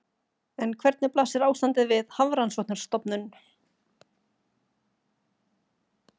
En hvernig blasir ástandið við Hafrannsóknastofnun?